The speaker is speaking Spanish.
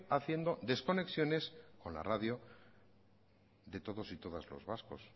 haciendo desconexiones con la radio de todas y todos los vascos